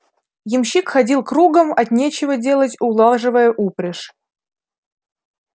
ямщик ходил кругом от нечего делать улаживая упряжь